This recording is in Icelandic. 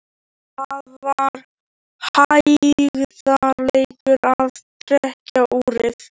Það var hægðarleikur að trekkja úrið.